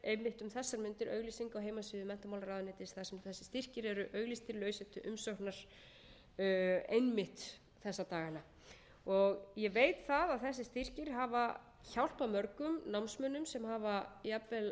einmitt um þessar mundir auglýsing á heimasíðu menntamálaráðuneytis þar sem þessir styrkir eru auglýstir lausir til umsóknar einmitt þessa dagana ég veit að þessir styrkir hafa hjálpað mörgum námsmönnum sem hafa jafnvel verið til að mynda í tíu